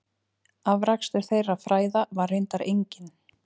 Afrakstur þeirra fræða var reyndar enginn.